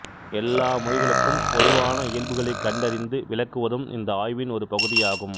எல்லா மொழிகளுக்கும் பொதுவான இயல்புகளைக் கண்டறிந்து விளக்குவதும் இந்த ஆய்வின் ஒரு பகுதியாகும்